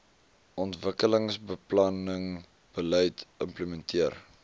ontwikkelingsbeplanning beleid implementeer